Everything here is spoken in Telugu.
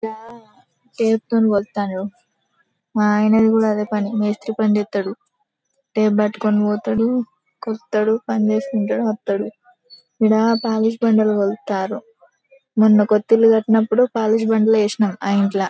టేప్ తోనే కొలుస్తారు. మా ఆయనది కూడా అదే పని మేస్త్రి పని చేస్తాడు. టేప్ పట్టుకుని పోతాడు కలుస్తాడు పనిచేస్తుంటాడు వస్తాడు. ఈడ పాలిష్ బండలు కొలుస్తారు మొన్న కొత్త ఇల్లు కట్టినప్పుడు పాలిష్ బండ్లు వేసిన ఆ ఇంట్ల.